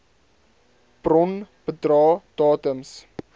bron bedrae datums